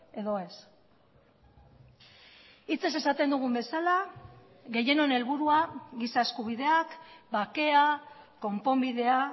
edo ez hitzez esaten dugun bezala gehienon helburua giza eskubideak bakea konponbidea